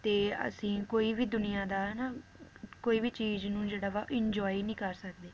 ਤੇ ਅਸੀ ਕੋਈ ਵੀ ਦੁਨੀਆਂ ਦਾ ਹਨਾ ਕੋਈ ਵੀ ਚੀਜ਼ ਨੂੰ ਜਿਹੜਾ ਵਾ enjoy ਨੀ ਕਰ ਸਕਦੇ